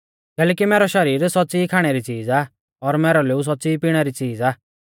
कैलैकि मैरौ शरीर सौच़्च़ी ई खाणै री च़ीज़ आ और मैरौ लोऊ सौच़्च़ी ई पिणै री च़ीज़ आ